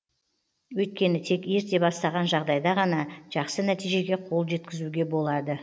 өйткені тек ерте бастаған жағдайда ғана жақсы нәтижеге қол жеткізуге болады